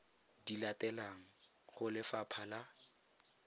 di latelang go lefapha la